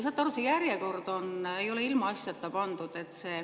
Saate aru, see järjekord ei ole ilmaasjata pandud.